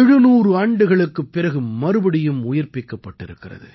700 ஆண்டுகளுக்குப் பிறகு மறுபடியும் உயிர்ப்பிக்கப்பட்டிருக்கிறது